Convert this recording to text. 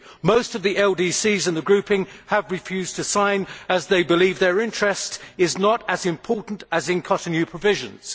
Most of the LDCs in the grouping have refused to sign as they believe their interest is not as important as in Cotonou provisions.